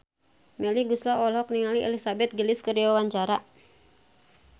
Melly Goeslaw olohok ningali Elizabeth Gillies keur diwawancara